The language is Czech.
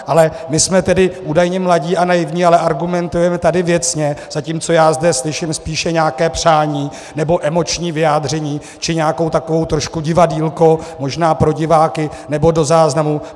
Ale my jsme tedy údajně mladí a naivní, ale argumentujeme tady věcně, zatímco já zde slyším spíše nějaké přání, nebo emoční vyjádření, či nějaké takové trošku divadýlko, možná pro diváky, nebo do záznamu.